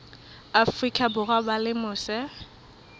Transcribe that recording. afrika borwa ba leng mose